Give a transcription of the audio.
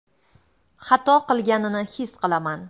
Xato qilganini his qilaman.